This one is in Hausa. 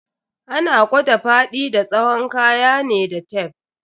Ana kwada faɗi da tsawon kaya ne da tef.